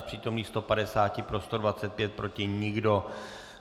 Z přítomných 150 pro 125, proti nikdo.